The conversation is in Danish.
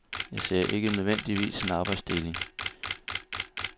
Jeg ser ikke nødvendigvis en arbejdsdeling.